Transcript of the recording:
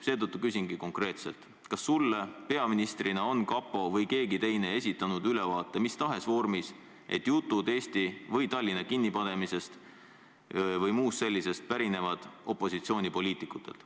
Seetõttu küsingi konkreetselt, kas sulle peaministrina on kapo või keegi teine esitanud ülevaate mis tahes vormis, et jutud Eesti või Tallinna kinni panemisest või muust sellisest pärinevad opositsioonipoliitikutelt.